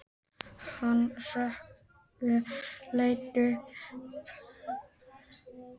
Hann hrökk við og leit upp.